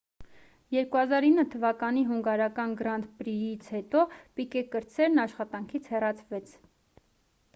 2009 թվականի հունգարական «գրանդ պրի»-ից հետո պիկե կրտսերն աշխատանքից հեռացվեց: